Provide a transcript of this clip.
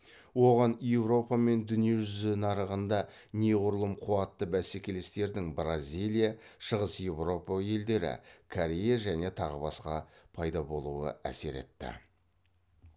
оған еуропа мен дүние жүзі нарығында неғұрлым қуатты бәсекелестердің бразилия шығыс еуропа елдері корея және тағы басқа пайда болуы әсер етті